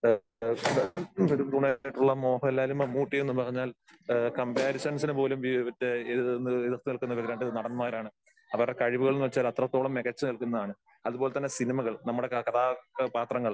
ആ ശരിയാ, നെടുംതൂണായിട്ടുള്ള മോഹൻലാലും മമ്മുട്ടിയും എന്നുപറഞ്ഞാൽ ആ കംപാരിസൺസിന് പോലും ഇവരുടെ ഇത് ഈ എതിർത്തുനിൽക്കുന്ന ഈ രണ്ട് നടന്മാരാണ്. അവരുടെ കഴിവുകൾ എന്നുവച്ചാ അത്രത്തോളം മികച്ചുനിൽക്കുന്നതാണ്. അതുപോലെതന്നെ സിനിമകൾ നമ്മടെ കഥാപാത്രങ്ങൾ